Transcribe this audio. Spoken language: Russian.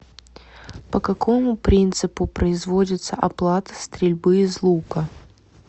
по какому принципу производится оплата стрельбы из лука